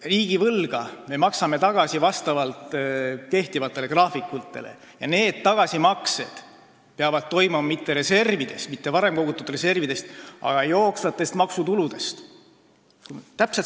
Riigivõlga me maksame tagasi kehtivate graafikute järgi ja neid tagasimakseid tuleb teha mitte varem kogutud reservidest, vaid jooksvatest maksutuludest.